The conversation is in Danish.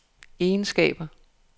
egenskaber